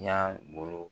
Y'a bolo